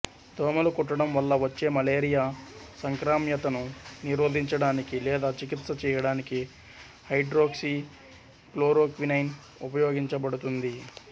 దోమలు కుట్టడం వల్ల వచ్చే మలేరియా సంక్రామ్యతను నిరోధించడానికి లేదా చికిత్స చేయడానికి హైడ్రోక్సిక్లోరోక్వినైన్ ఉపయోగించబడుతుంది